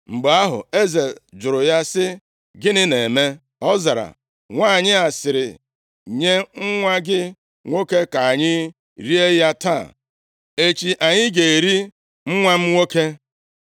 Mgbe ahụ, eze jụrụ ya sị, “Gịnị na-eme?” Ọ zara, “Nwanyị a sịrị, ‘Nye nwa gị nwoke ka anyị rie ya taa, echi anyị ga-eri nwa m nwoke.’